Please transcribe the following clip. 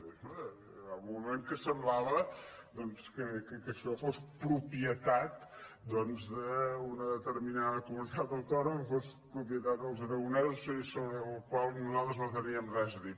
hi va haver un moment que semblava doncs que això fos propietat d’una determinada comunitat autònoma que fos propietat dels aragonesos sobre la qual cosa nosaltres no teníem res a dir